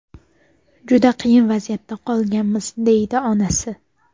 Juda qiyin vaziyatda qolganmiz”, deydi onasi.